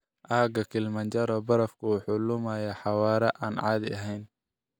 Aagga Kilimanjaro barafku wuxuu lumayaa xawaare aan caadi ahayn.